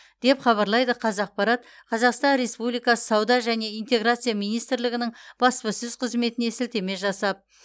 деп хабарлайды қазақпарат қазақстан республикасы сауда және интеграция министрлігінің бапасөз қызметіне сілтеме жасап